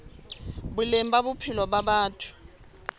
boleng ba bophelo ba batho